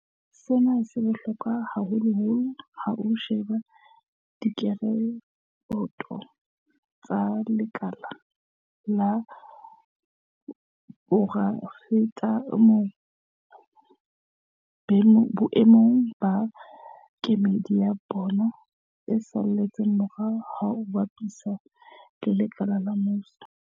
Sena se bohlokwa haholoholo ha o sheba direkoto tsa lekala la poraefete boemong ba kemedi ya bong e saletseng morao ha o bapisa le lekala la mmuso.